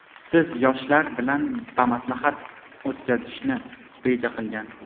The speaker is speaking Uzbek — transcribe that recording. siz yoshlar bilan bamaslahat o‘tkazishni reja qilgan.